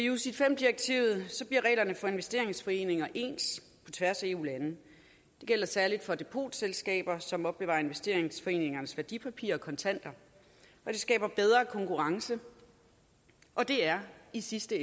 ucits v direktivet bliver reglerne for investeringsforeninger ens på tværs af eu landene det gælder særlig for depotselskaber som opbevarer investeringsforeningernes værdipapirer og kontanter og det skaber bedre konkurrence og det er i sidste